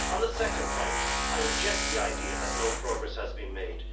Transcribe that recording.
On the second point, I reject the idea that no progress has been made.